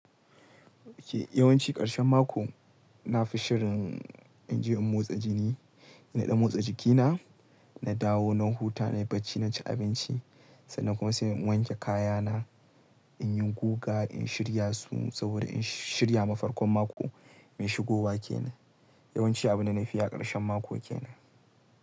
Yawan ci ƙarshen mako na fi shirin in je in motsa jini, na ɗan motsa jikina, na dawo na huta, na yi bacci, na ci abinci sannan kuma sai in wanke kayana, in yi guga, in shirya su saboda in shirya mafarkon mako mai shigo wa ke nan. Yawanci abin da na fi yi a ƙarshen mako ke nan.